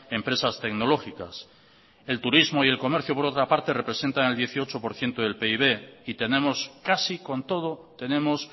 empresas tecnológicas el turismo y el comercio por otra parte representan el dieciocho por ciento del pib y tenemos casi con todo tenemos